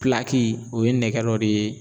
o ye nɛgɛ dɔ de ye